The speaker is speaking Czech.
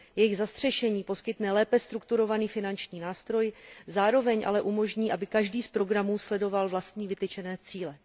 Jejich zastřešení poskytne lépe strukturovaný finanční nástroj, zároveň ale umožní, aby každý z programů sledoval vlastní vytyčené cíle.